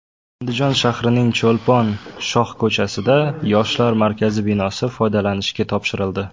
Andijon shahrining Cho‘lpon shohko‘chasida Yoshlar markazi binosi foydalanishga topshirildi.